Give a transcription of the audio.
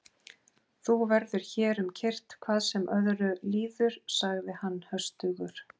Þú verður hér um kyrrt hvað sem öðru líður, sagði hann höstugur.